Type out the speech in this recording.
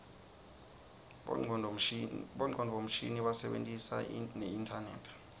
bongcondvo mshini basebentisa neinternet